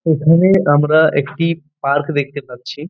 এখানে আমরা একটি পার্ক দেখতে পাচ্ছি।